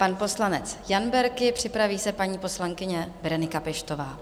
Pan poslanec Jan Berki, připraví se paní poslankyně Berenika Peštová.